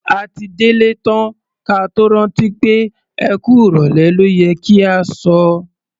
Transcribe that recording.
A ti délé tán ka tó rántí pé "ẹ kú ìrọ̀lẹ́ ló yẹ kí a sọ".